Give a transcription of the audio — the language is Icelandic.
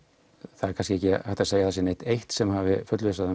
það er kannski ekki hægt að segja að það sé neitt eitt sem hafi fullvissað